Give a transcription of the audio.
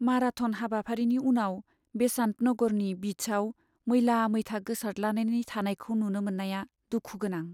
Marathon हाबाफारिनि उनाव बेसान्त नगरनि बिचआव मैला मैथा गोसारद्लानानै थानायखौ नुनो मोननाया दुखु गोनां।